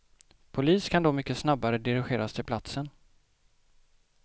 Polis kan då mycket snabbare dirigeras till platsen.